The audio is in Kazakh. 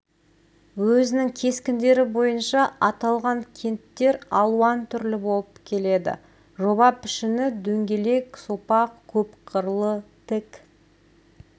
өзінің кескіндері бойынша аталған кенттер алуан түрлі болып келеді жоба пішіні дөңгелек сопақ көп қырлы тік